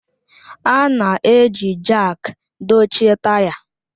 A na-eji Jaak dochie taya